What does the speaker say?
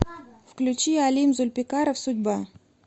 включи алим зульпикаров судьба